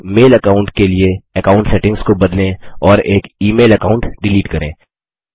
एक mail account के लिए अकाउंट सेटिंग्स को बदलें और एक ई मेल अकाउंट डिलीट करें